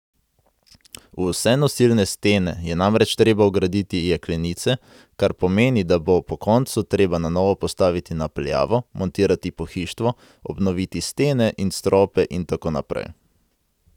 V vse nosilne stene je namreč treba vgraditi jeklenice, kar pomeni, da bo po koncu treba na novo postaviti napeljavo, montirati pohištvo, obnoviti stene in strope in tako naprej.